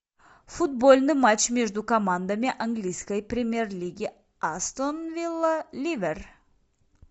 футбольный матч между командами английской премьер лиги астон вилла ливер